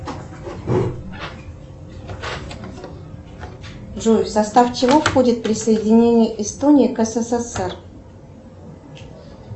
джой в состав чего входит присоединение эстонии к ссср